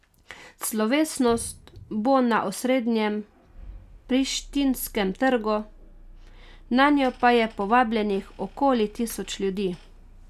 Slovesnost bo na osrednjem prištinskem trgu, nanjo pa je povabljenih okoli tisoč ljudi.